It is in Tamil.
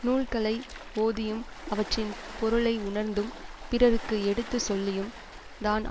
நூல்களை ஓதியும் அவற்றின் பொருளை உணர்ந்தும் பிறருக்கு எடுத்து சொல்லியும் தான்